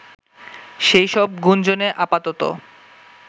সেই সব গুঞ্জনে আপাতত